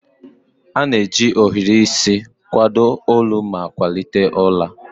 A na-eji ohiri isi kwado olu ma kwalite ụra.